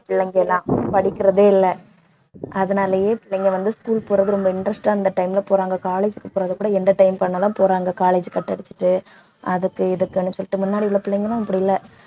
பிள்ளைங்கலாம் படிக்கிறதே இல்லை அதனாலேயே பிள்ளைங்க வந்து school போறது ரொம்ப interest ஆ இந்த time ல போறாங்க college க்கு போறதுக்கூட entertain பண்ணத்தான் போறாங்க college cut அடிச்சுட்டு அதுக்கு இதுக்குன்னு சொல்லிட்டு முன்னாடி உள்ள பிள்ளைங்களும் இப்படி இல்லை